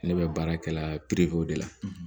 Ne bɛ baara kɛla de la